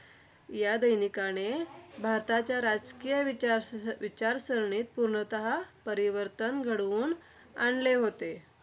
या दैनिकाने भारताच्या राजकीय विचार विचारसरणीत पूर्णतः परिवर्तन घडवून आणले होते.